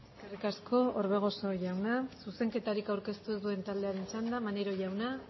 eskerrik asko orbegozo jauna zuzenketarik aurkeztu ez duen taldearen txanda maneiro jauna